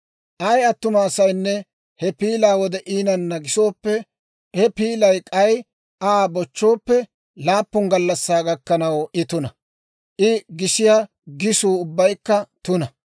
« ‹Ay attuma asaynne he piilaa wode iinanna gisooppe, he piilay k'ay Aa bochchooppe, laappun gallassaa gakkanaw I tuna; I gisiyaa gisuu ubbaykka tuna.